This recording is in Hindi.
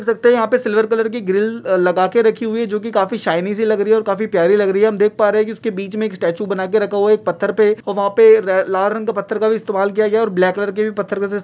देख सकते एह सिल्वर कलर की ग्रिल लगा कर रखी है जोकि काफी शाइनी सी लग रही है और काफी प्यारी लग रही है हम देख पा रहे है उसके बिच में एक स्टेचू बनाके रखा हुआ है पथ्हर पे वहां पे लाल रंग का पथ्हर का भी इश्तेमाल किया हु है ब्लैक कलर का पत्थर का --